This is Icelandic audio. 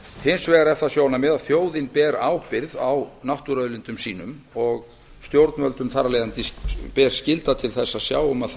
hins vegar er það sjónarmið að þjóðin ber ábyrgð á náttúruauðlindum sínum og stjórnvöldum ber þar af leiðandi skylda til að sjá um að þær